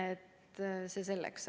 Aga see selleks.